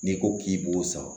N'i ko k'i b'o san